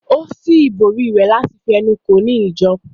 Ó ṣí ìbòrí rẹ̀ láti fi ẹnu kò ó ní ìjọ